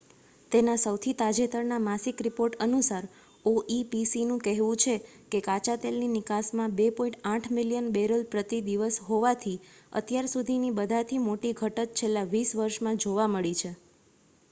તેના સૌથી તાજેતરના માસિક રિપોર્ટ અનુસાર oepcનું કહેવું છે કે કાચાતેલની નિકાસમાં 2.8 મિલિયન બેરલ પ્રતિ દિવસ હોવાથી અત્યાર સુધીની બધાથી મોટી ઘટત છેલ્લા વીસ વર્ષમાં જોવા મળી છે